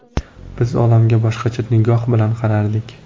Biz olamga boshqacha nigoh bilan qarardik.